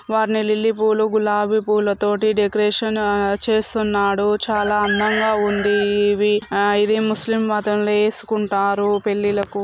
వాటిని లిల్లీ పువ్వులు గులాబీ పువ్వులు తోటి డెకరేషన్ ఆ చేస్తున్నాడు. చాలా అందంగా ఉంది. ఇవి ముస్లిమ్ మతం ల వేసుకుంటారు పెళ్లి లకు.